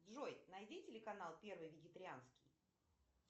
джой найди телеканал первый вегетарианский